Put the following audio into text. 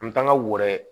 An bɛ taa n ka woyo